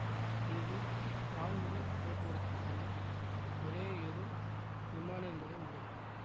இங்கு வான்வழி போக்குவரத்திற்கான ஒரேயொரு விமான நிலையம் உள்ளது